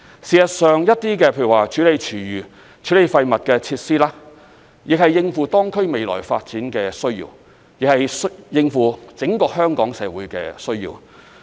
事實上，一些設施，例如處理廚餘和廢物的設施，亦是為應付當區未來發展的需要，或是為應付整個香港社會的需要。